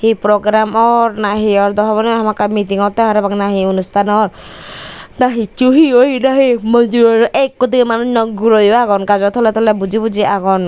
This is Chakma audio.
hi program or nahi or dow hobor nw pangor pakka miting otte parapang nahi onusthan or nahi hicchu hi oye nahi mojor ekko dibey manuj noi guroyo agon gajo tole tole buji buji agon.